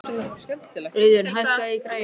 Auðun, hækkaðu í græjunum.